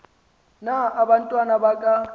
na abantwana baka